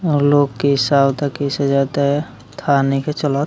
लोग कइसे आता कइसे जाता है थाह नइखे चलत।